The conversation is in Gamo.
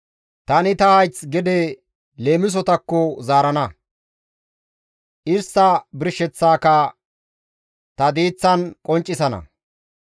Tani ta hayth leemisotakko zaarana; istta birsheththaaka ta diiththan qonccisana.